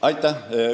Aitäh!